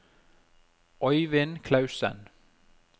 Øivind Klausen